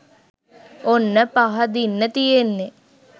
ඔන්න පහදින්න තියෙන්නේ